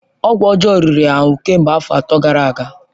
Ọgwụ ọjọọ riri ya ahụ kemgbe afọ atọ gara aga.